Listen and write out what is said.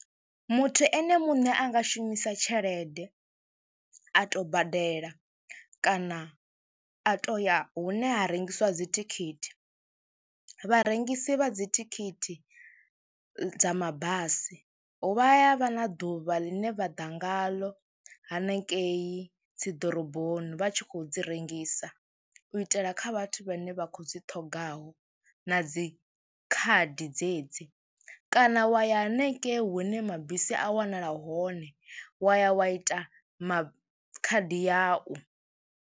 Muthu ene muṋe a nga shumisa tshelede, a tou badela kana a tou ya hune ha rengisiwa dzithikhithi. Vharengisi vha dzithikhithi dza mabasi vha ya vha na ḓuvha ḽine vha ḓa ngaḽo hanengei dzi ḓoroboni vha tshi khou dzi rengisa u itela kha vhathu vhane vha khou dzi ṱhoga u ngaho na dzi khadi dzedzi kana wa ya hanengei hune mabisi a wanala hone wa ya wa ita ma khadi yau.